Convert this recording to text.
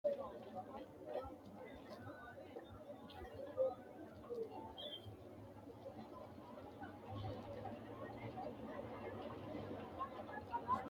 Gobbate deerrinni diru giddo mite hinge ayirrinsanni togo budu uduunu kalqete leellinshanni kone kayinni leelishidhano daga imise budu giddo noore baalanka xinqite fushiteti.